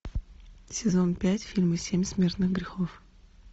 сезон пять фильма семь смертных грехов